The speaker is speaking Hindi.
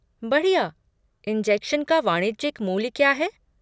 बढ़िया। इंजेक्शन का वाणिज्यिक मूल्य क्या है?